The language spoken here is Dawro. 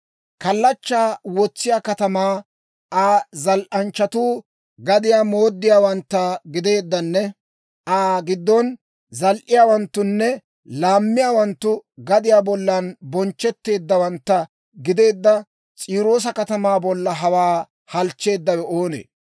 Kallachchaa wotsisiyaa katamaa Aa zal"anchchatuu gadiyaa mooddiyaawantta gideeddanne Aa giddon zal"iyaawanttunne laammiyaawanttu gadiyaa bollan bonchchetteeddawantta gideedda S'iiroosa katamaa bolla hawaa halchcheeddawe oonee?